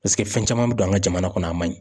Paseke fɛn caman bɛ don an ka jamana kɔnɔ, a ma ɲi.